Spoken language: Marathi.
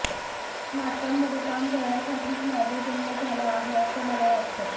नाटकांमध्ये काम करण्यासाठीच माझा जन्म झाला आहे असं मला वाटलं